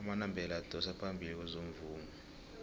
amandebele adosa phambili kwezomvumo